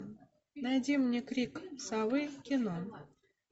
найди мне крик совы кино